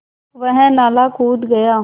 वह नाला कूद गया